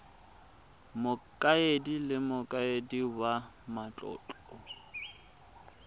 mokaedi le mokaedi wa matlotlo